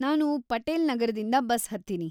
ನಾನು ಪಟೇಲ್‌ ನಗರದಿಂದ ಬಸ್‌ ಹತ್ತೀನಿ.